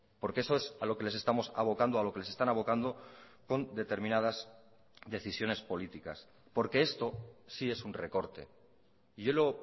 porque eso es a lo que les estamos abocando a lo que les están abocando con determinadas decisiones políticas porque esto sí es un recorte y yo lo